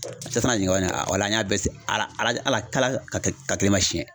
ɲininka an y'a bɛɛ ala ala ka kelen ma siyɛn